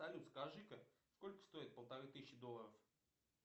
салют скажи ка сколько стоит полторы тысячи долларов